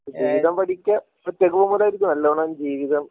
ജീവിതം പഠിക്കെ ഒറ്റക് പോവുമ്പോഴായിരിക്കും നല്ലോണം ജീവിതം